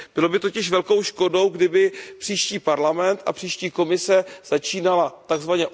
Bylo by totiž velkou škodou, kdyby příští Parlament a příští Komise začínaly tzv.